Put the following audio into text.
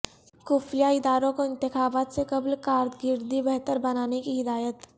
خفیہ اداروں کو انتخابات سے قبل کارکردگی بہتر بنانے کی ہدایت